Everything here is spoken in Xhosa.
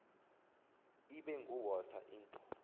ibe nguwalter into